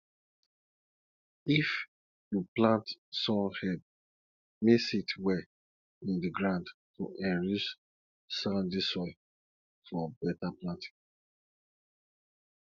if you plant sun hemp mix it well in the ground to enrich sandy soil for better planting